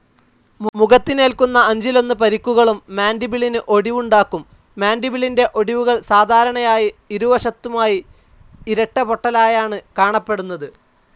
മുഖത്തിനേൽക്കുന്ന അഞ്ചിലൊന്ന് പരിക്കുകളും മാൻ്റിബിളിന് ഒടിവുണ്ടാക്കും. മാൻഡിബിലിൻ്റെ ഒടിവുകൾ സാധാരണയായി ഇരുവശത്തുമായി ഇരട്ടപൊട്ടലായാണ് കാണപ്പെടുന്നത്.